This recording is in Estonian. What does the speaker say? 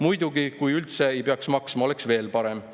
Muidugi, kui üldse ei peaks maksma, oleks veel parem.